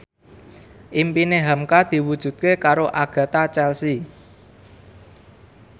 impine hamka diwujudke karo Agatha Chelsea